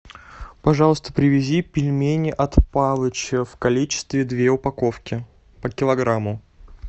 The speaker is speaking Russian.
пожалуйста привези пельмени от палыча в количестве две упаковки по килограмму